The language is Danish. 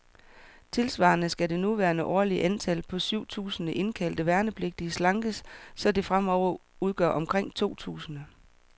Tilsvarende skal det nuværende årlige antal, på syv tusinde indkaldte værnepligtige, slankes, så det fremover udgør omkring to tusinde.